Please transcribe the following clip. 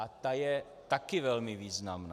A ta je taky velmi významná.